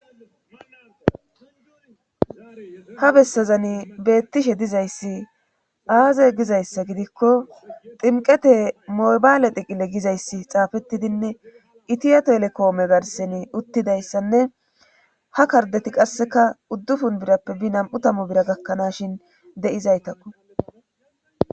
Ha bessazani beettishe dizayssi aaze gizayssa gidikko ximqete mobaale diqile gizayssi xaafettidinne itiyato elekoome garseni uttidayssanne ha kardeti qasseka uddufun birappe bi nam7u tamu bira gakkanashin de7izaytakko.